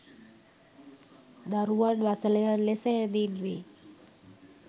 දරුවන් වසලයන් ලෙස හැඳින් වේ.